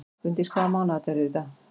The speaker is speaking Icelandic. Gunndís, hvaða mánaðardagur er í dag?